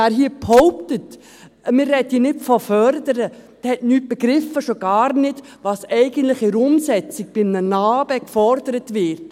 Wer hier behauptet, wir sprächen hier nicht von Fördern, der hat nichts begriffen, schon gar nicht, was eigentlich in der Umsetzung bei NA-BE gefordert wird.